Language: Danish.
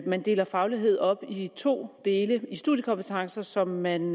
man deler faglighed op i to dele i studiekompetencer som man